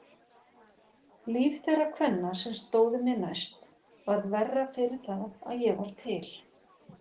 Líf þeirra kvenna sem stóðu mér næst varð verra fyrir það að ég var til.